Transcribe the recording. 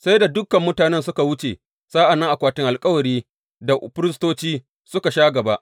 Sai da dukan mutanen suka wuce sa’an nan akwatin alkawari da firistoci suka sha gaba.